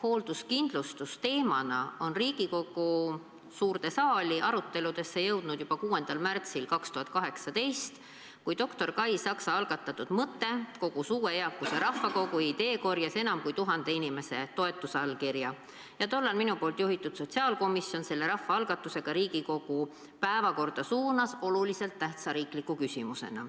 Hoolduskindlustus teemana jõudis Riigikogu suure saali aruteludesse juba 6. märtsil 2018, kui doktor Kai Saksa algatatud mõte kogus uue eakuse rahvakogu ideekorjes enam kui 1000 inimese toetusallkirja ja tollal minu juhitud sotsiaalkomisjon suunas selle rahvaalgatuse oluliselt tähtsa riikliku küsimusena ka Riigikogu päevakorda.